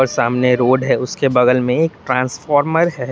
और सामने रोड है और उसके बगल में एक ट्रांसफार्मर है।